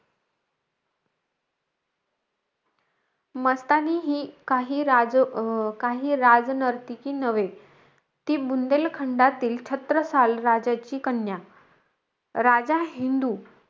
मस्तानी ही काही राज अं काही राज नर्तकी नव्हे. ती बुंदेलखंडातील छत्रसाल राजाची कन्या. राजा हिंदू,